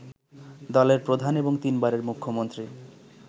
দলের প্রধান এবং তিনবারের মুখ্যমন্ত্রী